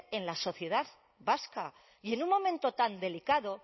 en la sociedad vasca y en un momento tan delicado